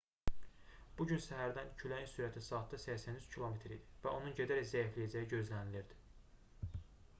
bu gün səhərdən küləyin sürəti saatda 83 km idi və onun gedərək zəifləyəcəyi gözlənilirdi